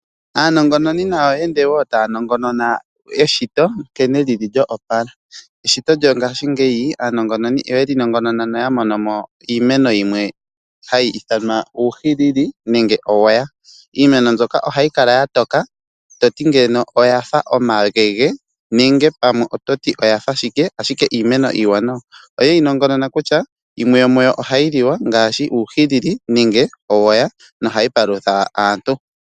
Aanongonnoni ye ende woo taa nongonona eshito nkene lili lyo opala. Aanongononi oya nongonona, noya monomo iimeno yimwe ha yi ithanwa uuhili; nenge owoya, iimeno mbyono oha yi kala ya toka toti ando oya fa oma gege, ashike iimeno iiwanawa. Oye yi nongonona kutya yimwe yomuyo oha yi liwa ngaashi uuhilili osho woo owoya noha yi palutha aantu.